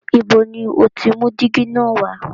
Ibo ni o ti mú dígí na wá?